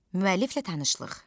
Müəlliflə tanışlıq.